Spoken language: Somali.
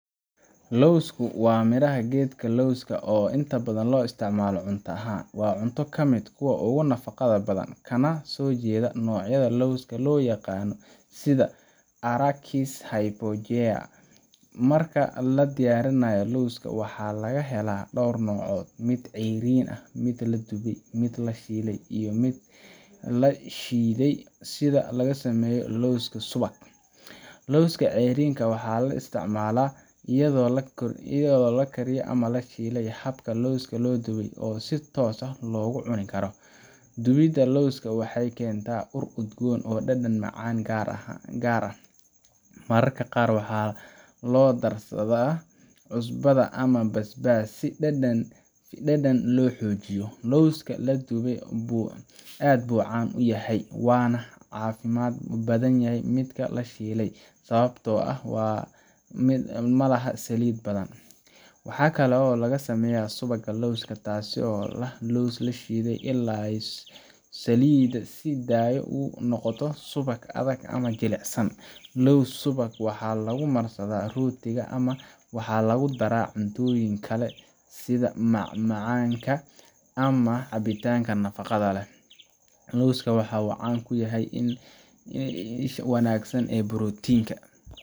Lowsku waa midhaha geedka lowska oo inta badan loo isticmaalo cunto ahaan. Waa cunto ka mid ah kuwa ugu nafaqada badan, kana soo jeeda noocyada lawska la yaqaan sida Arachis hypogaea. Marka la diyaarinayo, lowska waxaa laga helaa dhowr nooc: mid ceeriin ah, mid la dubay, mid la shiilay, iyo xitaa mid la shiiday si laga sameeyo lows subag. Lowska ceeriinka waxaa la isticmaalaa iyadoo la kariyo ama la shiilayo, halka lowska la dubay uu si toos ah loogu cuni karo. Dubidda lowska waxay keentaa ur udgoon iyo dhadhan macaan oo gaar ah. Mararka qaar waxaa loo darsadaa cusbo ama basbaas si dhadhan loo xoojiyo. Lowska la dubay aad buu caan u yahay, waana ka caafimaad badan midka la shiilay sababtoo ah ma laha saliid badan. Waxaa kaloo laga sameeyaa subagga lowska, taas oo ah lows la shiiday ilaa uu saliidda sii daayo oo uu noqdo subag adag ama jilicsan. Lows subagga waxaa lagu marsadaa rootiga ama waxaa lagu daraa cuntooyin kale sida macmacaanka ama cabitaanada nafaqada leh. Lowska waxa uu caan ku yahay in uu yahay isha wanaagsan ee borotiinka.